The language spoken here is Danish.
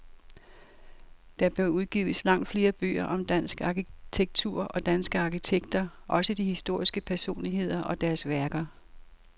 Der bør udgives langt flere bøger om dansk arkitektur og danske arkitekter, også de historiske personligheder og deres værker.